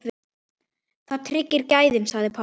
Það tryggir gæðin sagði Páll.